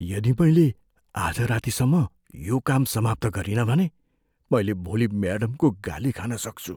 यदि मैले आज रातिसम्म यो काम समाप्त गरिनँ भने, मैले भोलि म्याडमको गाली खान सक्छु।